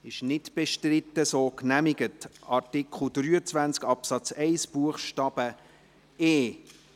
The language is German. Sie haben dem zugestimmt, mit 122 Ja- gegen 4 Nein-Stimmen bei 4 Enthaltungen.